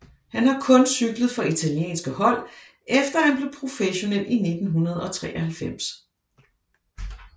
Han har kun cyklet for italienske hold efter at han blev professionel i 1993